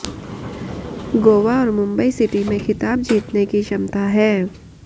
गोवा और मुंबई सिटी में खिताब जीतने की क्षमता है